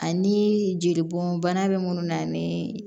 Ani jeli bɔn bana bɛ munnu na ni